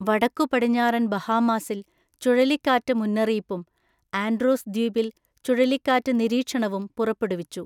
വടക്കുപടിഞ്ഞാറൻ ബഹാമാസിൽ ചുഴലിക്കാറ്റ് മുന്നറിയിപ്പും ആൻഡ്രോസ് ദ്വീപിൽ ചുഴലിക്കാറ്റ് നിരീക്ഷണവും പുറപ്പെടുവിച്ചു.